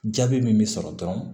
Jaabi min bɛ sɔrɔ dɔrɔn